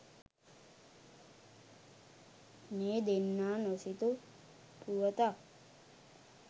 මේ දෙන්නා නොසිතූ පුවතක්.